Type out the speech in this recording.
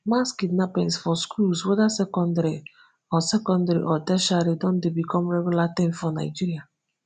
mass kidnappings for schools whether secondary or secondary or tertiary don dey become regular tin for nigeria